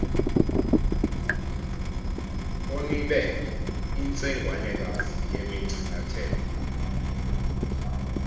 onibe intsengwanekazi yemingcangatelo